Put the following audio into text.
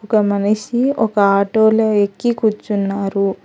ఒక మనిషి ఒక ఆటోలో ఎక్కి కూర్చున్నారు.